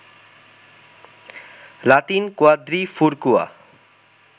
Latin কুয়াদ্রিফুর্কুয়া